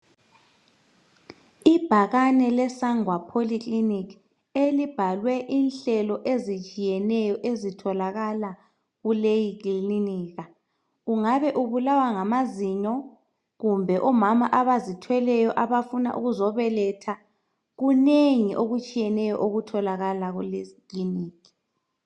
Ibhakane leSangwa polyclinic elibhalwe inhlelo ezitshiyeneyo ezitholakala kuleyi klinika. Kungabe ubulawa ngamazinyo, kumbe omama abazithweleyo abafuna ukuzobeletha. Kunengi okutshiyeneyo okutholakala kuleyi klinikhi.